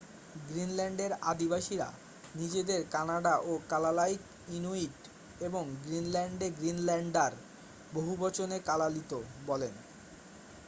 গ্রিনল্যান্ডের আদিবাসীরা নিজেদের কানাডা ও কালালাইক ইনুইট এবং গ্রিনল্যান্ডে গ্রিনল্যান্ডার বহুবচনে কালালিত বলেন।